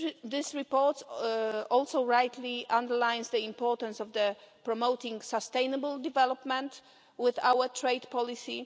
This report also rightly underlines the importance of promoting sustainable development with our trade policy.